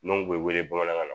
Dunaw tun bɛ wele bamanankan na